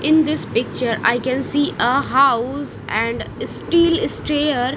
in this picture i can see a house and steel stayer.